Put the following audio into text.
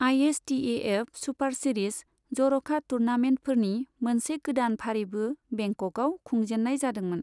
ISTAF super series, जर'खा टुर्नामेन्टफोरनि मोनसे गोदान फारिबो बेंककआव खुंजेननाय जादोंमोन।